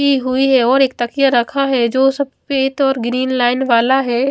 की हुई है और एक तखिया रखा है जो सफेद और ग्रीन लाइन वाला है।